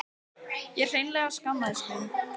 Ég hreinlega skammaðist mín.